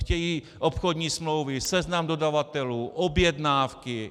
Chtějí obchodní smlouvy, seznam dodavatelů, objednávky.